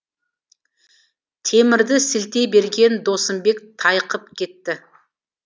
темірді сілтей берген досымбек тайқып кетті